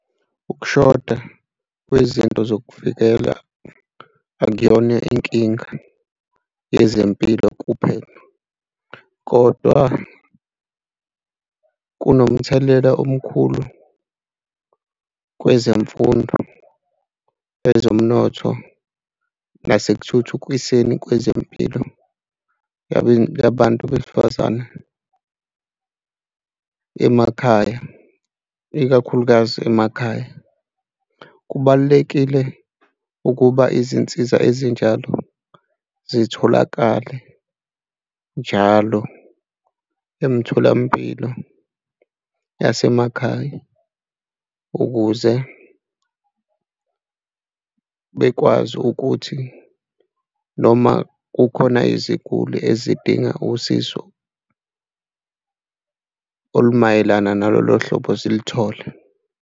Ukushoda kwizinto zokuvikela akuyona inkinga yezempilo kuphela kodwa kunomthelela omkhulu kwezemfundo, ezomnotho, nasekuthuthukiseni kwezempilo abantu besifazane emakhaya, ikakhulukazi emakhaya. Kubalulekile ukuba izinsiza ezinjalo zitholakale njalo emtholampilo yasemakhaya ukuze bekwazi ukuthi noma kukhona iziguli ezidinga usizo olumayelana nalolo hlobo zilithole.